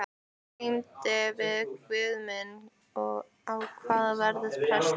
Glímdi við guð minn: Á ég að verða prestur?